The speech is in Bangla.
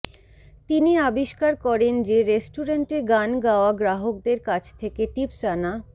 তিনি আবিষ্কার করেন যে রেস্টুরেন্টে গান গাওয়া গ্রাহকদের কাছ থেকে টিপস আনা